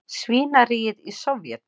svínaríið í Sovét.